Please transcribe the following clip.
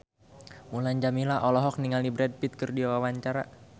Mulan Jameela olohok ningali Brad Pitt keur diwawancara